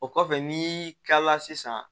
O kɔfɛ n'i kilala sisan